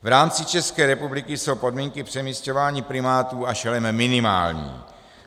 V rámci České republiky jsou podmínky přemisťování primátů a šelem minimální.